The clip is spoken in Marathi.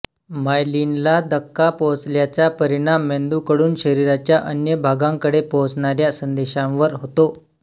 मायलिनला धक्का पोहोचल्याचा परिणाम मेंदूकडून शरीराच्या अन्य भागांकडे पोहोचणाऱ्या संदेशांवर होतो